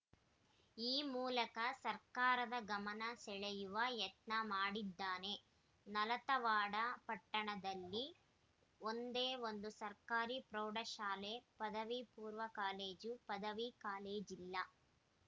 ಈ ಮೂಲಕ ಸರ್ಕಾರದ ಗಮನ ಸೆಳೆಯುವ ಯತ್ನ ಮಾಡಿದ್ದಾನೆ ನಾಲತವಾಡ ಪಟ್ಟಣದಲ್ಲಿ ಒಂದೇ ಒಂದು ಸರ್ಕಾರಿ ಪ್ರೌಢಶಾಲೆ ಪದವಿಪೂರ್ವ ಕಾಲೇಜು ಪದವಿ ಕಾಲೇಜಿಲ್ಲ